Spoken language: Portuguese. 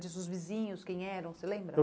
Diz os vizinhos quem eram, você lembra?